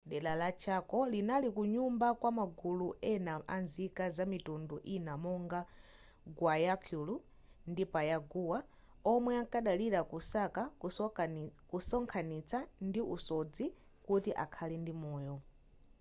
dera la chaco linali kunyumba kwa magulu ena amzika zamitundu ina monga guaycuru ndi payagua omwe amkadalira kusaka kusonkhanitsa ndi usodzi kuti akhale ndi moyo